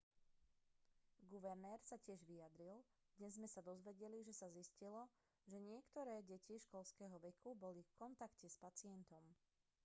guvernér sa tiež vyjadril dnes sme sa dozvedeli že sa zistilo že niektoré deti školského veku boli v kontakte s pacientom